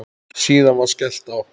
Síðan var skellt á.